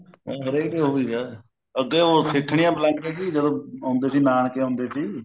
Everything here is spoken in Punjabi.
ਹਰੇਕ ਉਹੀ ਹੈ ਅੱਗੇ ਉਹ ਸਿੱਠਨੀਆਂ ਬਲਾਉਂਦੇ ਸੀ ਜਦੋਂ ਆਉਂਦੇ ਸੀ ਨਾਨਕੇ ਆਉਂਦੇ ਸੀ